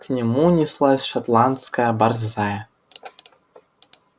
к нему неслась шотландская борзая